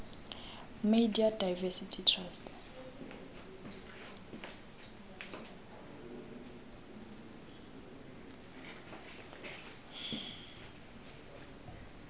media diversity trust